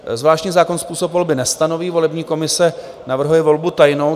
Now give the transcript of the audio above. Zvláštní zákon způsob volby nestanoví, volební komise navrhuje volbu tajnou.